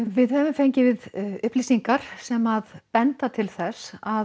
við höfum fengið upplýsingar sem banda til þess að